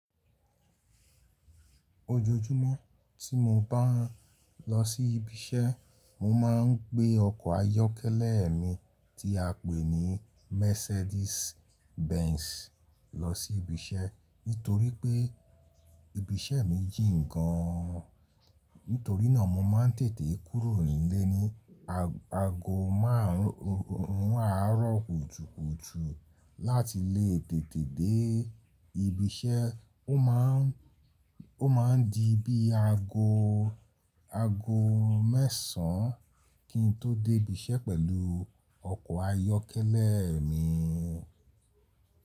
Ojoojúmọ́ tí mo bá ń lọ sí ibi iṣẹ́, mo máa ń gbé ọkọ̀ ayọ́kẹ́lẹ́ mi tí a pè ní Mercedes Benz lọ sí ibi iṣẹ́. Nítorí pé ibi iṣẹ́ mi jìn gan an. Nítorí náà mo máa ń tètè kúrò nílé ni ago márùn àárọ̀ kùtùkùtù láti lé tètè dé ibi iṣẹ́. Ó máa ń, ó máa ń di bí ago, ago mẹ́sàn kí n tó dé ibi iṣẹ́ pẹ̀lú ọkọ̀ ayọ́kẹ́lẹ́ mi.